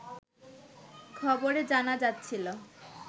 খবরে জানা যাচ্ছিল